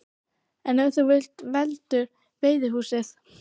En ef þú vilt heldur veiðihúsið?